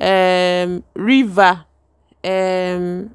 um river. um